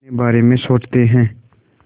अपने बारे में सोचते हैं